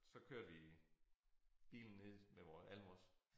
Så kørte vi bilen ned med vores alle vores